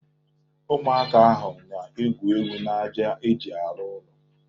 Ụmụaka ahụ na-egwu egwu n'aja e ji arụ ụlọ.